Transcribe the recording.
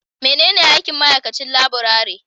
Menene aikin ma'aikacin laburare?